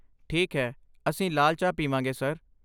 ਠੀਕ ਹੈ, ਅਸੀਂ ਲਾਲ ਚਾਹ ਪੀਵਾਂਗੇ, ਸਰ।